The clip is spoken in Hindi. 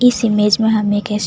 इस इमेज में हमे एक --